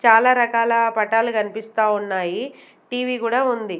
చాలా రకాల పటాలు కనిపిస్తా ఉన్నాయి టీ_వీ కూడా ఉంది.